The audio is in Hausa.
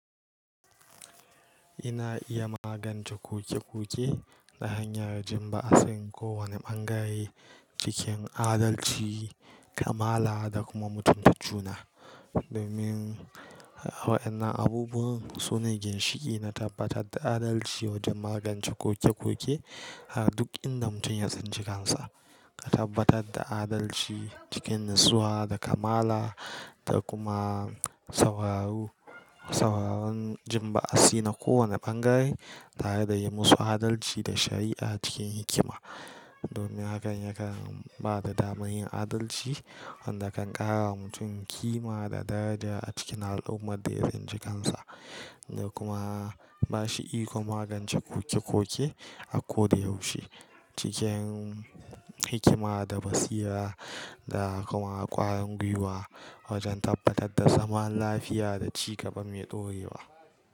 Ina iya magance koke-koke ta hanyar ji ba'asin kowane ɓangare cikin adalci, kamala da kuma mutunta juna. Domin a wa'innan abubuwan su ne ginshiƙi na tabbatar da adalci wajen magance koke-koke a duk inda mutum ya tsinci kansa. Ka tabbatar da adalci cikin natsuwa da kamala da kuma sauraro. Sauraron jin ba'asi na kowane ɓangare tare da yi musu adalci da shari'a cikin hikima. Domin hakan ya kan ba da damar yin adalci wanda kan ƙara wa mutum ƙima da daraja a cikin al'ummar da ya san cikinsa da kuma bashi iko magance koke-koke a ko da yaushe cikin hikima da basira da kuma ƙwarin gwiwa wajen tabbatar da zaman lafiya da ci gaba mai ɗorewa.